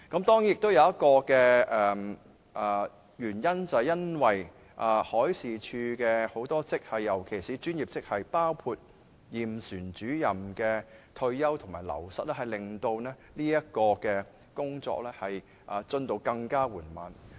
當然，還有一個原因，就是海事處很多職系，尤其是專業職系的退休及流失，令到工作進度更緩慢。